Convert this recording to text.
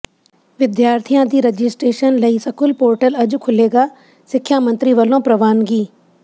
ਵਿਦਿਆਰਥੀਆਂ ਦੀ ਰਜਿਸਟ੍ਰੇਸ਼ਨ ਲਈ ਸਕੂਲ ਪੋਰਟਲ ਅੱਜ ਖੁੱਲ੍ਹੇਗਾ ਸਿੱਖਿਆ ਮੰਤਰੀ ਵੱਲੋਂ ਪ੍ਰਵਾਨਗੀ